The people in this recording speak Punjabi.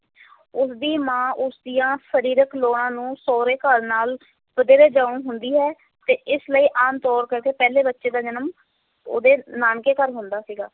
ਉਸ ਦੀ ਮਾਂ ਉਸ ਦੀਆਂ ਸਰੀਰਕ ਲੋੜਾਂ ਨੂੰ ਸਹੁਰੇ ਘਰ ਨਾਲ ਵਧੇਰੇ ਜਾਣੂ ਹੁੰਦੀ ਸੀ ਤੇ ਇਸ ਲਈ ਆਮ ਤੌਰ ਕਰਕੇ ਪਹਿਲੇ ਬੱਚੇ ਦਾ ਜਨਮ ਉਹਦੇ ਨਾਨਕੇ ਘਰ ਹੁੰਦਾ ਸੀਗਾ।